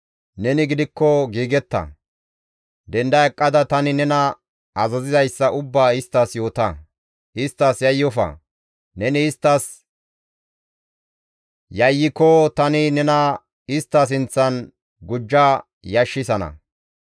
«Neni gidikko giigetta! Denda eqqada tani nena azazizayssa ubbaa isttas yoota; isttas yayyofa. Neni isttas yayyiko tani nena istta sinththan gujja yashissana.